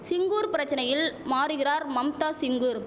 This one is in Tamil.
சிங்கூர் பிரச்சனையில் மாறுகிறார் மம்தா சிங்கூர்